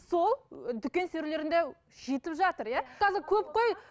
сол дүкен сөрелерінде жетіп жатыр иә қазір көп қой